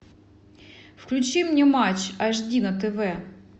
включи мне матч аш ди на тв